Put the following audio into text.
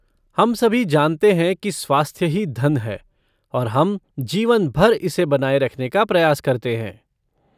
हम सभी जानते हैं कि स्वास्थ्य ही धन है, और हम जीवन भर इसे बनाए रखने का प्रयास करते हैं।